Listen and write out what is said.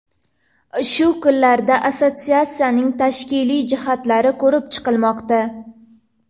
Shu kunlarda assotsiatsiyaning tashkiliy jihatlari ko‘rib chiqilmoqda.